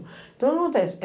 Então, o que acontece?